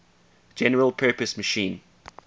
general purpose machine